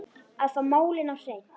Að fá málin á hreint